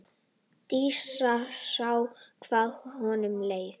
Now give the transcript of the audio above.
Dísa sá hvað honum leið.